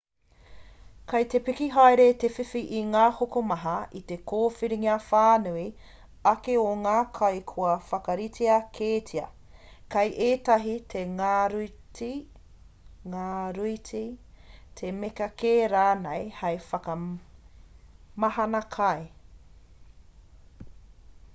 kei te piki haere te whiwhi o ngā hokomaha i te kōwhiringa whānui ake o ngā kai kua whakaritea kētia kei ētahi he ngaruiti he mea kē rānei hei whakamahana kai